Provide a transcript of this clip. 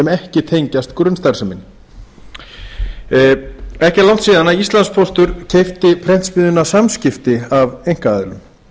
ekki tengjast grunnstarfseminni ekki er langt síðan íslandspóstur keypti prentsmiðjuna samskipti af einkaaðilum